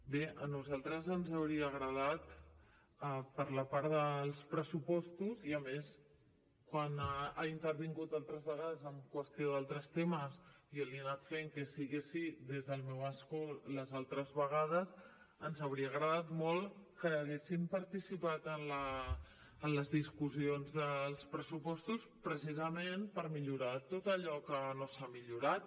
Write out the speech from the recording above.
bé a nosaltres ens hauria agradat per la part dels pressupostos i a més quan ha intervingut altres vegades en qüestió d’altres temes jo li he anat fent que sí que sí des del meu escó les altres vegades ens hauria agradat molt que haguessin participat en les discussions dels pressupostos precisament per millorar tot allò que no s’ha millorat